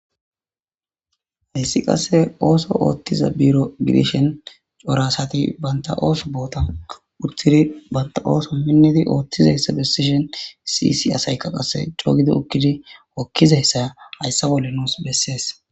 Issi qasse ooso ooththiza biro gidishen corasati baynta ooso boota uttidi banta ooso minnidi oothtiza hessa besishon sisi asayka qasse cogido ukkidi wokkiza hessaya hayssa bolle nuus bessees.